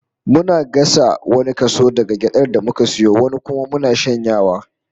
Muna gasa wani kaso daga gyadar da muka sayo, wani kuma muna shanyawa